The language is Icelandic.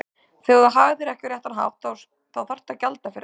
Þegar þú hagar þér ekki á réttan hátt þá þarftu að gjalda fyrir það.